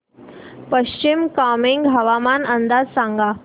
पश्चिम कामेंग हवामान अंदाज सांगा